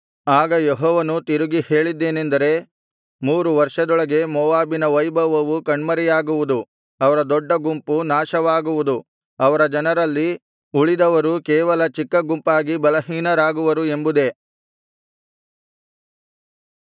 ಆಗ ಯೆಹೋವನು ತಿರುಗಿ ಹೇಳಿದ್ದೇನೆಂದರೆ ಮೂರು ವರ್ಷದೊಳಗೆ ಮೋವಾಬಿನ ವೈಭವವು ಕಣ್ಮರೆಯಾಗುವುದು ಅವರ ದೊಡ್ಡ ಗುಂಪು ನಾಶವಾಗುವುದು ಅವರ ಜನರಲ್ಲಿ ಉಳಿದವರು ಕೇವಲ ಚಿಕ್ಕ ಗುಂಪಾಗಿ ಬಲಹೀನರಾಗುವರು ಎಂಬುದೇ